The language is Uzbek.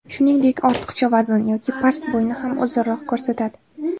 Shuningdek, ortiqcha vazn yoki past bo‘yni ham uzunroq ko‘rsatadi.